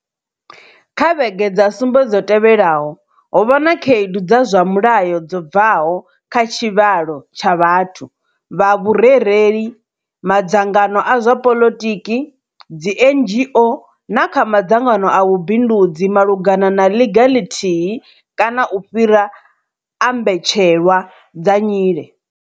Kha vhege dza sumbe dzo tevhelaho, ho vha na khaedu dza zwa mulayo dzo bvaho kha tshivhalo tsha vhathu, vha vhurereli, madzangano a zwa poḽotiki, dzi NGO na kha madzangano a vhubindudzi malugana na ḽiga ḽithihi kana u fhira a mbetshelwa dza nyile.